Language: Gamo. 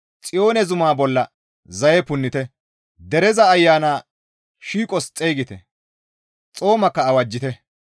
Xiyoone zuma bolla zaye punnite; dereza ayana shiiqos xeygite; xoomakka awajjite.